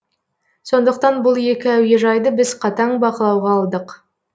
сондықтан бұл екі әуежайды біз қатаң бақылауға алдық